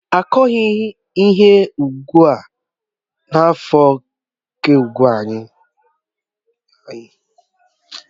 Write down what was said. Akughi ihe n'ụgbọ anyị n'afọ ka ụgbo anyị wetaghachi nri make ọrụ ugbo n'esote